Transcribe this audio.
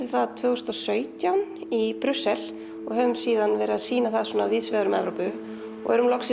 það tvö þúsund og sautján í Brussel og höfum síðan verið að sýna það víðsvegar um Evrópu og erum loksins